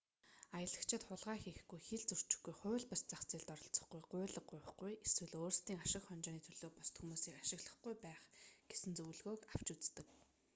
аялагчид хулгай хийхгүй хил зөрчихгүй хууль бус зах зээлд оролцохгүй гуйлга гуйхгүй эсвэл өөрсдийн ашиг хонжооны төлөө бусад хүмүүсийг ашиглахгүй байх гэсэн зөвлөгөөг авч үздэг